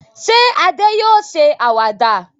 Ṣé Adé yóò ṣe àwàdà?